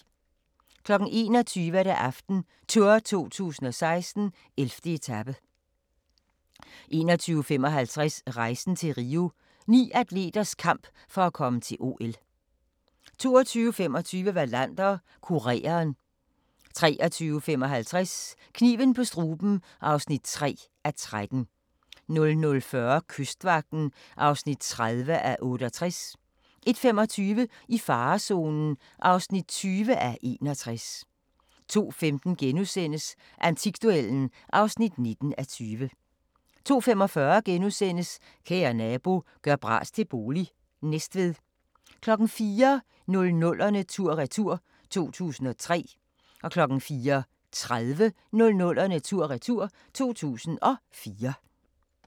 21:00: AftenTour 2016: 11. etape 21:55: Rejsen til Rio – Ni atleters kamp for at komme til OL 22:25: Wallander: Kureren 23:55: Kniven på struben (3:13) 00:40: Kystvagten (30:68) 01:25: I farezonen (20:61) 02:15: Antikduellen (19:20)* 02:45: Kære nabo – gør bras til bolig – Næstved * 04:00: 00'erne tur-retur: 2003 04:30: 00'erne tur/retur: 2004